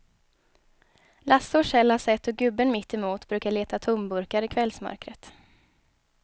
Lasse och Kjell har sett hur gubben mittemot brukar leta tomburkar i kvällsmörkret.